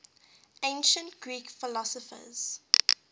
ancient greek philosophers